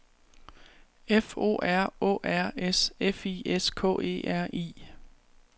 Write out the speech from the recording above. F O R Å R S F I S K E R I